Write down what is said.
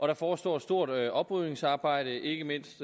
der forestår et stort oprydningsarbejde ikke mindst